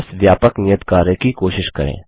इस व्यापक नियत कार्य की कोशिश करें